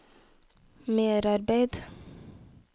merarbeid